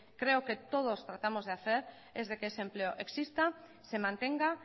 creo que todos tratamos de hacer es de que ese empleo exista y se mantenga